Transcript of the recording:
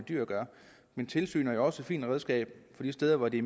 dyr at gøre men tilsyn er jo også et fint redskab de steder hvor det